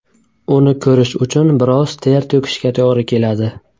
Uni ko‘rish uchun biroz ter to‘kishga to‘g‘ri keladi .